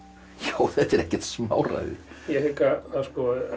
þetta er ekkert smáræði ég hygg að